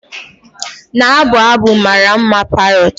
Na-abụ abụ mara mma, parrot.